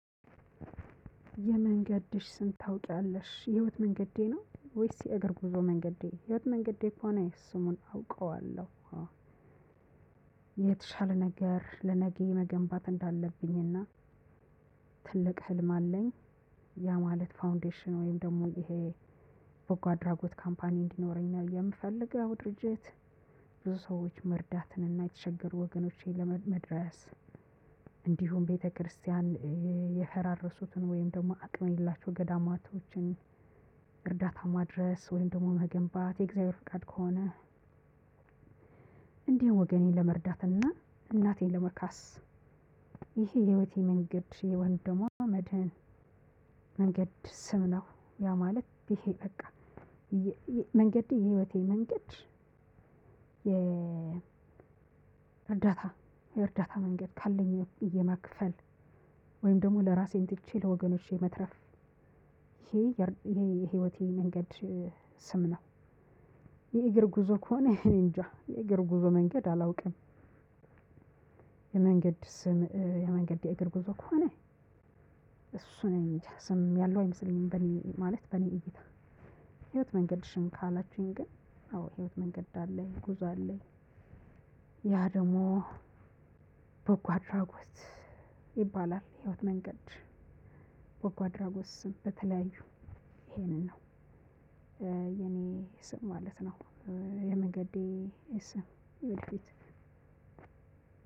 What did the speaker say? የመንገድሽ ስም ታውቂያለሽ የህይወት መንገዴ ነው ወይስ የእግር ጉዞ መንገዴ የህይወት መንገዴ ከሆነ ስሙን አውቀዋለሁ። የተሻለ ነገር ለነገ መገንባት እንዳለብኝና ትልቅ ህልም አለኝ። ያ ማለት ፋውንዴሽን ወይም ደግሞ ይሄ በጓ አድራጎት ካምፓኒ እንዲኖረኝ ነው የምፈልገው ድርጅት። ብዙ ሰዎች መርዳትን እና የተቸገሩ ወገኖቼን መድረስ። እንዲሁም ቤተክርስቲያን የፈራረሱትን እንዲሁም ደሞ አቅም የሌላቸውን ገዳማቶችን እርዳታ ማድረስ ወይም ደግሞ መገንባት የእግዚአብሔር ፍቃድ ከሆነ። እንዲሁ ወገኔን ለመርዳትና እናቴን ለመካስ ይሄ የህይወቴ መንገድ የወንድሟ መድህን መንገድ ስም ነው። ያው ማለት ይሄ በቃ መንገድ የህይወቴ መንገድ። የ እርዳታ የእርዳታ መንገድ ካለኝ የማክፈል ወይም ደግሞ ለራሴን ትቼ ለወገኖቼ መትረፍ ይሄ የህይወቴ መንገድ ስም ነው። የእግር ጉዞ ከሆነ እኔ እንጃ የእግር ጉዞ መንገድ አላውቅም። የመንገድ ስም የመንገድ የእግር ጉዞ ከሆነ እሱ እኔጃ ስም ያለው አይመስለኝም በኔ ማለት በኔ እይታ። ህይወት መንገድሽን ካላችሁኝ ግን አዎ ህይወት መንገድ አለኝ ጉዞ አለኝ። ያ ደግሞ በጓ አድራጎት ይባላል የህይወት መንገድ በጓ አድራጎት ስም በተለያዩ ይሄንን ነው። የኔ ስም ማለት ነው። የመንገዴ ስም ዮዲት።